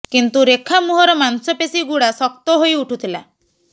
କିନ୍ତୁ ରେଖା ମୁହଁର ମାଂସପେଶୀ ଗୁଡା ଶକ୍ତ ହେଇ ଉଠୁଥିଲା